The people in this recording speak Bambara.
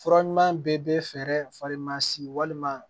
Fura ɲuman bɛɛ bɛ fɛɛrɛ fari masi walima